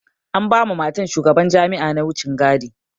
An ba ma matan shugaban jami'a na wucen gadi.